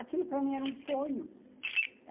Aquilo para mim era um sonho.